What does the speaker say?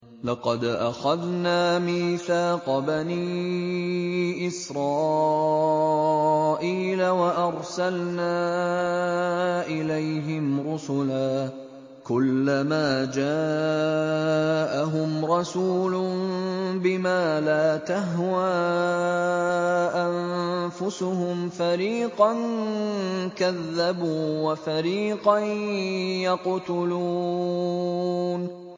لَقَدْ أَخَذْنَا مِيثَاقَ بَنِي إِسْرَائِيلَ وَأَرْسَلْنَا إِلَيْهِمْ رُسُلًا ۖ كُلَّمَا جَاءَهُمْ رَسُولٌ بِمَا لَا تَهْوَىٰ أَنفُسُهُمْ فَرِيقًا كَذَّبُوا وَفَرِيقًا يَقْتُلُونَ